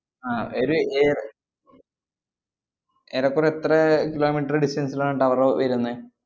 ആഹ് ഇത് ഏർ ഏറെക്കുറെ എത്ര kilometer distance ലാണ് tower വരുന്നേ?